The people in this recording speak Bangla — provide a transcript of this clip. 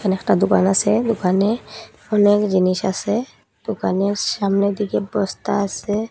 একটা দোকান আসে দোকানে অনেক জিনিস আসে দোকানের সামনের দিকে বস্তা আসে।